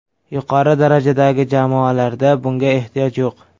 Yuqori darajadagi jamoalarda bunga ehtiyoj yo‘q.